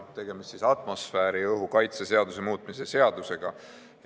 Tegemist on atmosfääriõhu kaitse seaduse muutmise seadusega.